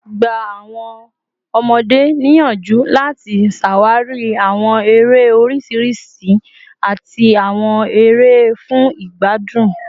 Gba awọn ọmọde niyanju lati ṣawari awọn ere oriṣiriṣi ati awọn ere fun igbadun